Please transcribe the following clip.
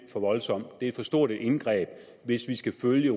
for voldsomt det er for stort et indgreb hvis vi skal følge